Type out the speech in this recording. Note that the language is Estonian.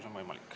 Palun!